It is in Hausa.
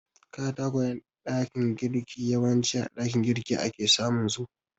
Katakwayen ɗakin girki yawanci a ɗakin girki ake samunsu.